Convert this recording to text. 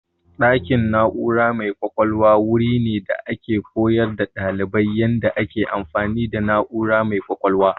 Ɗakin na'ura mai ƙwaƙwalwa wuri ne da ake koyar da ɗalibai yadda ake amfani da na'ura mai ƙwaƙwalwa.